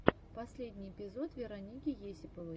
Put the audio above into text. последний эпизод вероники есиповой